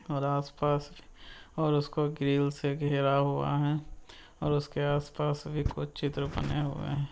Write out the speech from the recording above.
और आस-पास और उसको ग्रिल से घेरा हुआ है और उसके आस-पास भी कुछ चित्र बने हुए हैं।